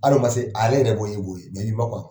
Hali ma se ale yɛrɛ b'o ye e b'o ye mais ni ma kɔn a ma